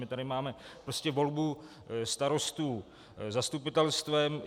My tady máme prostě volbu starostů zastupitelstvem.